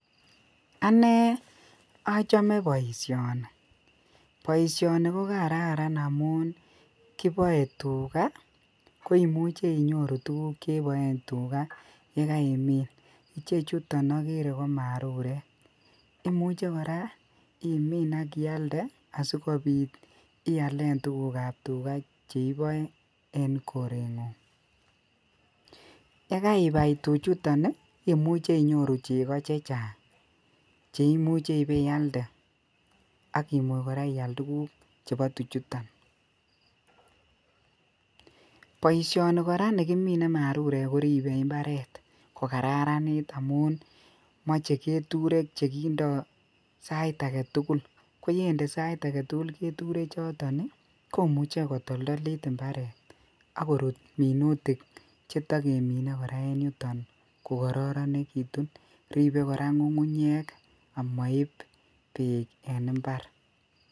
Anee ochome boisyonii, boisyonii kogararan omuun kiboe tuuga koimuche inyoruu tuguk cheboen tuuga yegaimin, chechuton ogere ko marurek, imuche koraa imiin ak iaalde asigobiit iaalen tuguk ab tuga cheiboe en korengung ye gaibai tuchuton iih koimuche inyoru chego chechang cheimuche ibeyaalde agiyaal koraa tuguk chebo tuchuton, boisyoni koraa nigimine marurek koribe koraa mbareet kogararaniit amuun moche keturek chegindoo sait agetugul, koyendee jeturek choton sait agetugul iih komuche kotoldolit imbareet ak koruut minutik chetogeminee koraa en yuton kogororegitun, ribe koraa ngungunyeek omoibb beek en imbaar